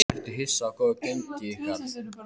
Ertu hissa á góðu gengi ykkar?